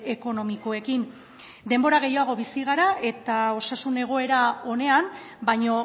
ekonomikoekin denbora gehiago bizi gara eta osasun egoera onean baino